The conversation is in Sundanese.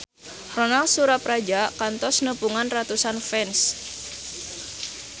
Ronal Surapradja kantos nepungan ratusan fans